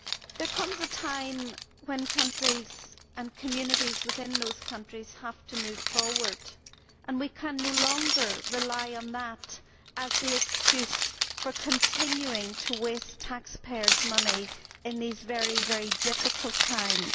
There comes a time when countries and communities within those countries have to move forward, and we can no longer rely on that as the excuse for continuing to waste taxpayers' money in these very difficult times.